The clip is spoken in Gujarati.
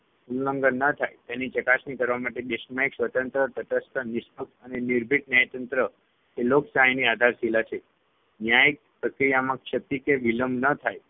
ઉલ્લંઘન ન થાય તેની ચકાસણી કરવા માટે દેશમાં એક સ્વતંત્ર, તટસ્થ, નિષ્પક્ષ અને નિર્ભીક ન્યાયતંત્ર એ લોકશાહીની આધારશીલા છે. ન્યાય પ્રક્રિયામાં ક્ષતિ કે વિલંબ ન થાય